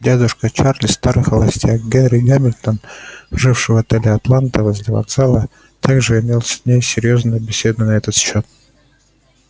дядюшка чарлза старый холостяк генри гамильтон живший в отеле атланта возле вокзала также имел с ней серьёзную беседу на этот счёт